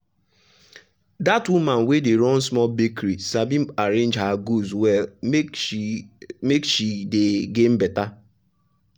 that woman wey dey run small bakery sabi arrange her goods well make she make she dey gain better.